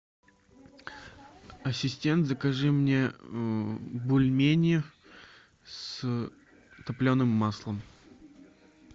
ассистент закажи мне бульмени с топленым маслом